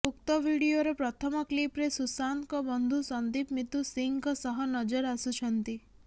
ଉକ୍ତ ଭିଡିଓର ପ୍ରଥମ କ୍ଲିପରେ ସୁଶାନ୍ତଙ୍କ ବନ୍ଧୁ ସନ୍ଦୀପ ମିତୁ ସିଂହଙ୍କ ସହ ନଜର ଆସୁଛନ୍ତି